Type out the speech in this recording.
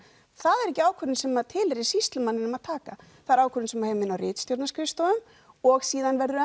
það er ekki ákvörðun sem tilheyrir sýslumanninum að taka það er ákvörðun sem á heima inn á ritstjórnarskrifstofu og síðan verður